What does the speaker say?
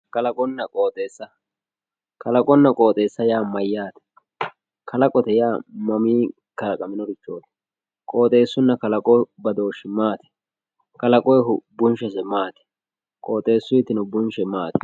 kalaqonna qoxeesa kalaqonna qoxeesa yaa mayaate kalaqote yaa mamii kalaqaminorichooti qoodheesuno kolaqo badooshi maati kalaqoyiihu bunshese maati qooxeesuitino bunshe maati